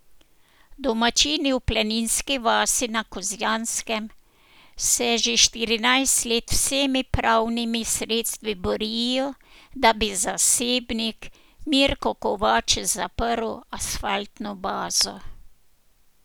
Domačini v Planinski vasi na Kozjanskem se že štirinajst let z vsemi pravnimi sredstvi borijo, da bi zasebnik Mirko Kovač zaprl asfaltno bazo.